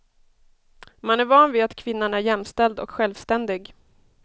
Man är van vid att kvinnan är jämställd och självständig.